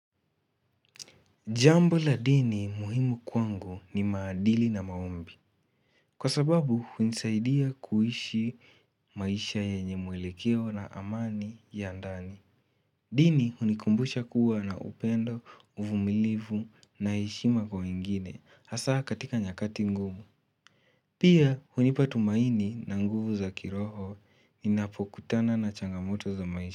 Jambo la dini muhimu kwangu ni maadili na maombi. Kwa sababu hunisaidia kuishi maisha yenye mwelekeo na amani ya ndani. Dini hunikumbusha kuwa na upendo, uvumilivu na heshima kwa wengine hasa katika nyakati ngumu. Pia hunipa tumaini na nguvu za kiroho ninapokutana na changamoto za maisha.